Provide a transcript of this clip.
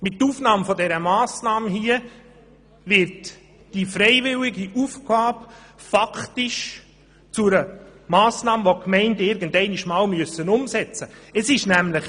Mit Aufnahme der vorliegenden Massnahme, wird diese freiwillige Aufgabe faktisch zu einer Aufgabe, welche die Gemeinden irgendwann umsetzen müssen.